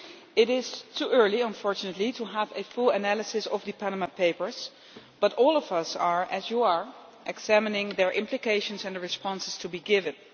It is too early, unfortunately, to have a full analysis of the Panama Papers, but all of us are as you are examining their implications and the responses to be given.